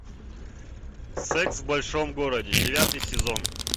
секс в большом городе девятый сезон